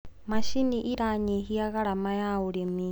macinĩ iranyihia garama wa ũrĩmi